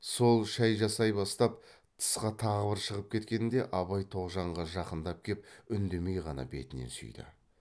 сол шай жасай бастап тысқа тағы бір шығып кеткенде абай тоғжанға жақындап кеп үндемей ғана бетінен сүйді